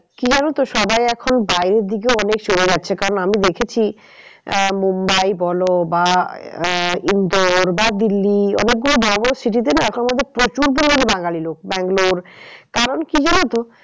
কি জানো তো সবাই এখন বাইরের দিকেও অনেক চলে যাচ্ছে কারণ আমি দেখেছি আহ মুম্বাই বলো বা আহ ইন্দোর বা দিল্লি অনেক গুলো বড়ো বড়ো city তে না এখন মনে হচ্ছে প্রচুর পরিমানে বাঙালি লোক ব্যাঙ্গালোর কারণ কি জানো তো